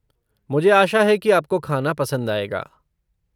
मुझे आशा है कि आपको खाना पसंद आएगा।